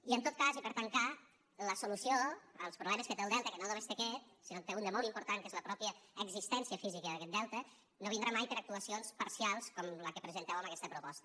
i en tot cas i per tancar la solució als problemes que té el delta que no només té aquest sinó que en té un de molt important que és la mateixa existència física d’aquest delta no vindrà mai per actuacions parcials com la que presenteu amb aquesta proposta